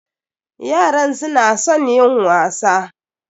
Yaran su na son yin wasa.